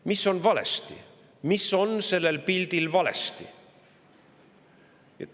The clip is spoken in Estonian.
Mis on valesti, mis on sellel pildil valesti?